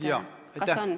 Kas on?